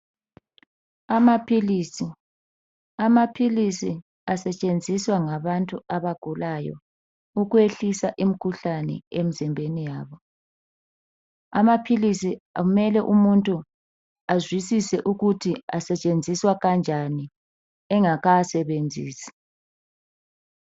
Amapills asetshenziswa ngabantu abagulayo ukwehlisa imkhuhlane emzimbeni yabo amapills umuntu kumele azwisise ukuthi asetshenziswa njani engakawasebenzisi